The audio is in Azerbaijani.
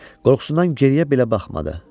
Qorxusundan geriyə belə baxmadı.